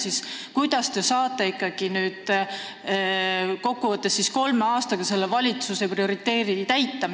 Kokku võttes: kuidas te siis ikkagi saate kolme aastaga selle valitsuse prioriteedi täita?